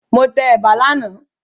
Mo tẹ ẹ̀bà lánàá